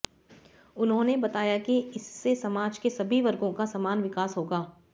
उन्होंने बताया कि इससे समाज के सभी वर्गों का समान विकास होगा